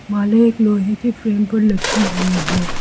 माले एक लोहे के फ्रेम पर लटकी हुई है।